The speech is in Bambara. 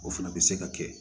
O fana bɛ se ka kɛ